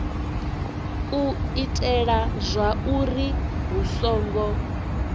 u itela zwauri hu songo